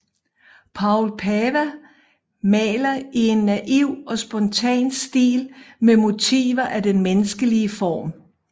Poul Pava maler i en naiv og spontan stil med motiver af den menneskelige form